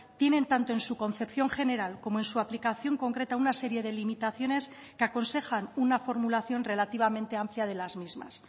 tienen tanto en su concepción general como en su aplicación concreta una serie de limitaciones que aconsejan una formulación relativamente amplia de las mismas